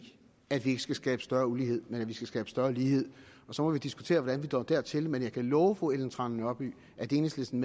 at vi ikke skal skabe større ulighed men at vi skal skabe større lighed og så må vi diskutere hvordan vi når dertil men jeg kan love fru ellen trane nørby at enhedslisten